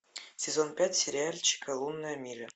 сезон пять сериальчика лунная миля